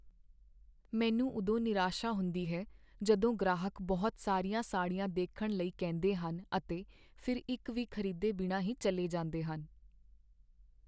ਮੈਨੂੰ ਉਦੋਂ ਨਿਰਾਸ਼ਾ ਹੁੰਦੀ ਹੈ ਜਦੋਂ ਗ੍ਰਾਹਕ ਬਹੁਤ ਸਾਰੀਆਂ ਸਾੜੀਆਂ ਦੇਖਣ ਲਈ ਕਹਿੰਦੇ ਹਨ ਅਤੇ ਫਿਰ ਇੱਕ ਵੀ ਖ਼ਰੀਦੇ ਬਿਨਾਂ ਹੀ ਚੱਲੇ ਜਾਂਦੇ ਹਨ।